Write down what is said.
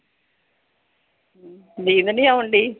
ਨੀਂਦ ਨੀ ਆਉਣ ਡਈ?